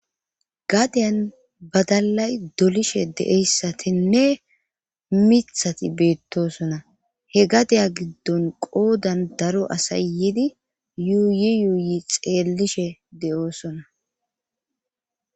gadeyan badalay dolishe de7eyssatinne mithati beettosona he gadeya giddon qoodan daro asayidi yuuyi yuuyi xeellishe de7oosona